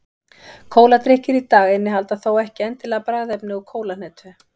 Kóladrykkir í dag innihalda þó ekki endilega bragðefni úr kólahnetu.